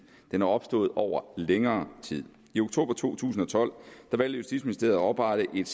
den er opstået over længere tid i oktober to tusind og tolv valgte justitsministeriet at oprette et